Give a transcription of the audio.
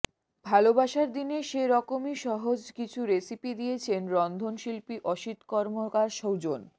ভালোবাসার দিনে সে রকমই সহজ কিছু রেসিপি দিয়েছেন রন্ধনশিল্পী অসিত কর্মকার সুজন